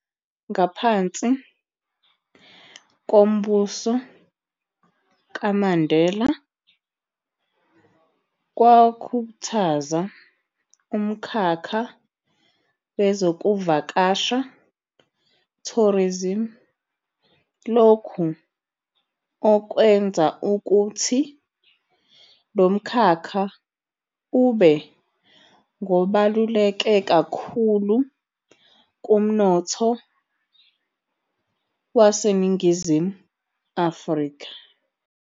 Ngaphansi kombuso kaMandela, kwakhuthaza umkhakha wezokuvakasha, tourism, lokhu okwenza ukuthi lo mkhakkha ube ngobaluleke kakhulu kumnotho weNingizimu Afrika.